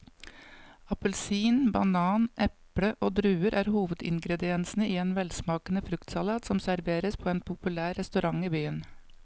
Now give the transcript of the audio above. Appelsin, banan, eple og druer er hovedingredienser i en velsmakende fruktsalat som serveres på en populær restaurant i byen.